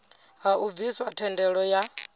ha u bviswa thendelo ya